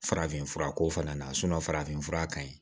Farafinfura ko fana na farafinfura ka ɲi